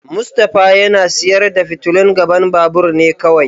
Mustapha yana sayar da fitilun gaban babur ne kawai.